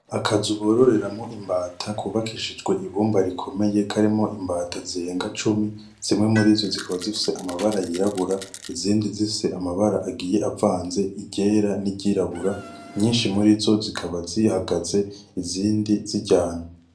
Akazu bororeramwo imbata kubakishijwe ibumba rikomeye karimwo imbata zerenga icumi, zimwe muri zo zikaba zifise amabara yirabura, izindi zifise amabara agiye avanze iryera n'iryirabura, nyinshi muri zo zikaba zihagaze izindi ziryama.